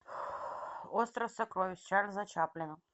остров сокровищ чарльза чаплина